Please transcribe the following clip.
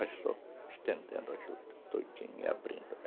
Vai só estendendo a juta todinha e abrindo ela.